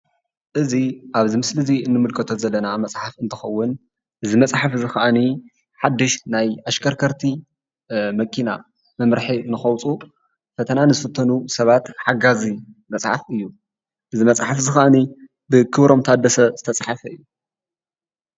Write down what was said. እዚ ኣብዚ ምስሊ እዚ ንምልከቶ ዘለና መፅሓፍ እንትከውን እዚ መፅሓፍ እዚ ከኣኒ ሓዱሽ ናይ ኣሽከርከርቲ መኪና መምርሒ ንከውፅኡ ፈተና ንዝፍተኑ ሰባት ሓጋዚ መፅሓፍ እዩ.። እዚ መፅሓፍ እዚ ካዓኒ ድማ ብክብሮም ታደሰ ዝተፃሓፈ እዩ::